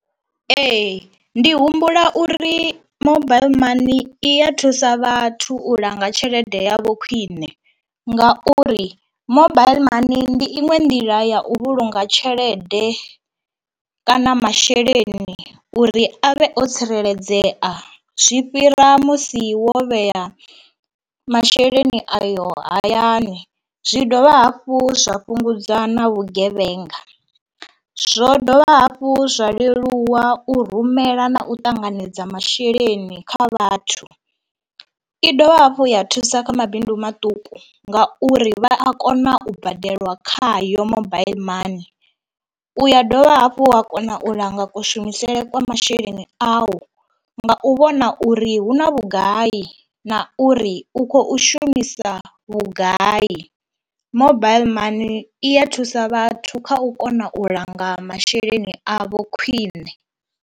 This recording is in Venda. Ee, ndi humbula uri mobile money i ya thusa vhathu u langa tshelede yavho khwiṋe ngauri mobile money ndi iṅwe nḓila ya u vhulunga tshelede kana masheleni uri avhe o tsireledzea zwi fhira musi wo vhea masheleni ayo hayani. Zwi dovha hafhu zwa fhungudza na vhugevhenga, zwo dovha hafhu zwa leluwa u rumela na u ṱanganedza masheleni kha vhathu. I dovha hafhu ya thusa kha mabindu maṱuku ngauri vha a kona u badela khayo mobaiḽi money u ya dovha hafhu ha kona u langa kushumisele kwa masheleni awu nga u vhona uri hu na vhugai na uri u khou shumisa vhugai. Mobile man i ya thusa vhathu kha u kona u langa masheleni avho khwiṋe.